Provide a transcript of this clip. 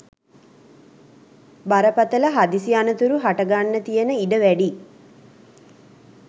බරපතළ හදිසි අනතුරු හට ගන්න තියෙන ඉඩ වැඩියි.